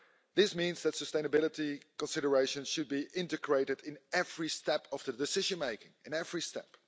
This means that sustainability considerations should be integrated in every step of the decision making in every step.